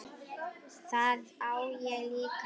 Það á ég líka til.